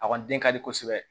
A kɔni den ka di kosɛbɛ